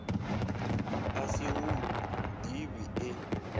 a sa hu ḓivhi e